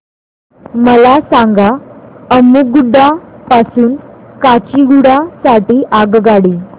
मला सांगा अम्मुगुडा पासून काचीगुडा साठी आगगाडी